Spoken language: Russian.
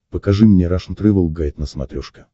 покажи мне рашн тревел гайд на смотрешке